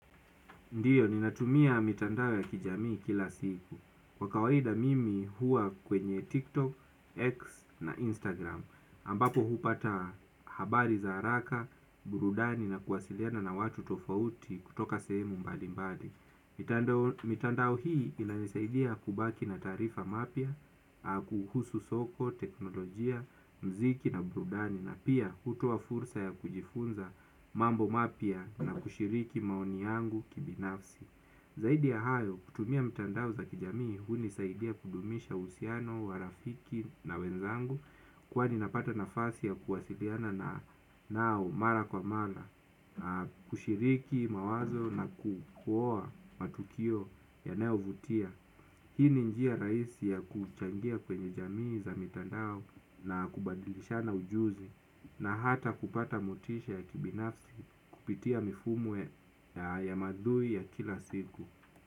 Ndiyo, ninatumia mitandao ya kijamii kila siku. Kwa kawaida mimi hua kwenye TikTok, X na Instagram. Ambapo hupata habari za haraka, burudani na kuwasiliana na watu tofauti kutoka sehemu mbali mbali. Mitandao hii inanisaidia kubaki na taarifa mapya, kuhusu soko, teknolojia, mziki na brudani na pia hutua fursa ya kujifunza mambo mapya na kushiriki maoni yangu kibinafsi. Zaidi ya hayo kutumia mtandao za kijamii huni saidia kudumisha usiano, warafiki na wenzangu kwani napata nafasi ya kuwasiliana na nao mara kwa mara, kushiriki mawazo na kukua matukio yanayo vutia. Hii ni njia raisi ya kuchangia kwenye jamii za mitandao na kubadilishana ujuzi na hata kupata motisha ya kibinafsi kupitia mifumwe ya ya madhui ya kila siku.